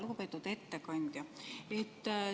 Lugupeetud ettekandja!